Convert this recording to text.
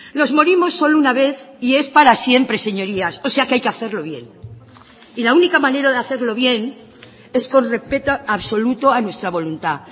nos morimos solo una vez y es para siempre señorías o sea que hay que hacerlo bien y la única manera de hacerlo bien es con respeto absoluto a nuestra voluntad